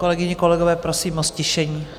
Kolegyně, kolegové, prosím o ztišení.